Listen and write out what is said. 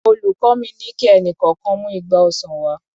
Olùkọ́ mi ni kí ẹnì kọ̀ọ̀kan mú igba ọsàn wá.